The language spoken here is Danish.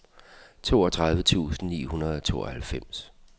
toogtredive tusind ni hundrede og tooghalvfems